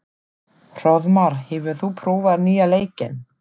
Hróðmar, hefur þú prófað nýja leikinn?